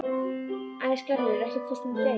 Æsgerður, ekki fórstu með þeim?